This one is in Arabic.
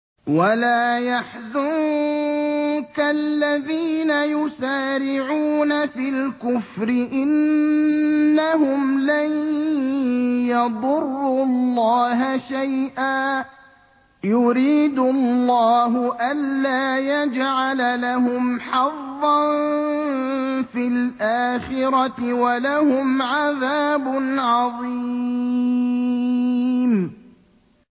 وَلَا يَحْزُنكَ الَّذِينَ يُسَارِعُونَ فِي الْكُفْرِ ۚ إِنَّهُمْ لَن يَضُرُّوا اللَّهَ شَيْئًا ۗ يُرِيدُ اللَّهُ أَلَّا يَجْعَلَ لَهُمْ حَظًّا فِي الْآخِرَةِ ۖ وَلَهُمْ عَذَابٌ عَظِيمٌ